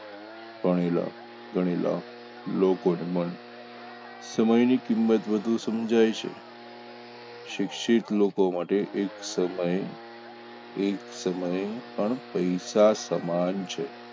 ભણેલા ગણેલા લોકોને પણ સમયની કિંમત વધુ સમજાય છે શિક્ષિત લોકો માટે એક સમયે એક સમયે પણ પૈસા સમાન છે